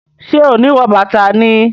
Ṣe o ni wọ bàtà ni?